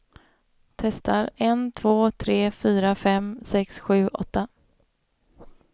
Testar en två tre fyra fem sex sju åtta.